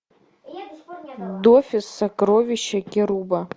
дофус сокровища керуба